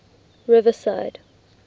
riverside